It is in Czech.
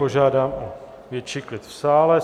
Požádám o větší klid v sále.